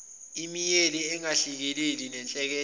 imeyili engahlelekile nehlelekile